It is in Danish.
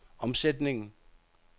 omsætningen